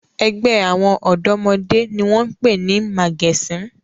Ẹgbẹ́ àwọn ọ̀dọ́mọdé ni wọ́n pè ní 'màgẹ̀sín'.